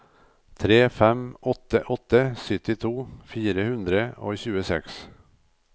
tre fem åtte åtte syttito fire hundre og tjueseks